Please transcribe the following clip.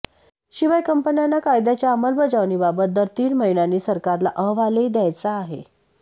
शिवाय कंपन्यांना कायद्याच्या अंमलबजावणीबाबत दर तीन महिन्यांनी सरकारला अहवालही द्यायचा आहे